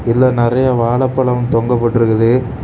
இதுல நறைய வாழைப்பழம் தொங்க போட்டிருக்குது.